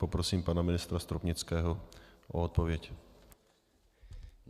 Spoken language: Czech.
Poprosím pana ministra Stropnického o odpověď.